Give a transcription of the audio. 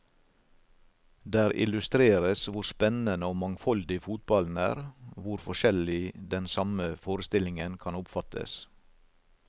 Der illustreres hvor spennende og mangfoldig fotballen er, hvor forskjellig den samme forestillingen kan oppfattes.